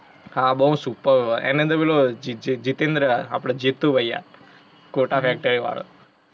હા, બહુ superb હેં, એની અંદર પેલુ જિ-જિ-જિતેન્દ્ર હેં આપડો જીતું ભૈયા kota factory વાળો.